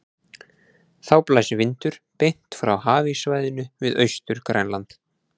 Þá blæs vindur beint frá hafíssvæðinu við Austur-Grænland.